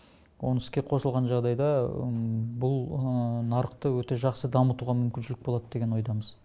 оны іске қосылған жағдайда бұл нарықты өте жақсы дамытуға мүмкіншілік болады деген ойдамыз